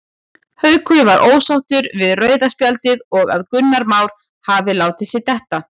Haukur var ósáttur við rauða spjaldið og að Gunnar Már hafi látið sig detta.